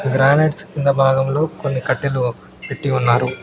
Granites కింద భాగంలో కొన్ని కట్టెలు పెట్టి ఉన్నారు.